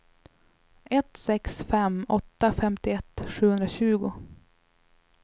ett sex fem åtta femtioett sjuhundratjugo